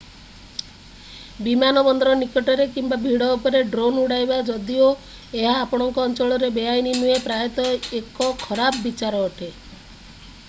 ବିମାନ ବନ୍ଦର ନିକଟରେ କିମ୍ବା ଭିଡ଼ ଉପରେ ଡ୍ରୋନ୍ ଉଡାଇବା ଯଦିଓ ଏହା ଆପଣଙ୍କ ଅଞ୍ଚଳରେ ବେଆଇନ ନୁହେଁ ପ୍ରାୟତଃ ଏକ ଖରାପ ବିଚାର ଅଟେ